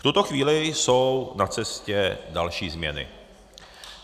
V tuto chvíli jsou na cestě další změny.